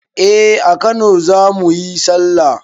Eh a kano zamuyi sallah